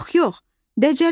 Yox, yox, Dəcəli böyüt.